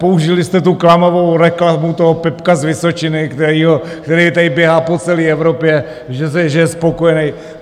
Použili jste tu klamavou reklamu toho Pepka z Vysočiny, který tady běhá po celé Evropě, že je spokojený.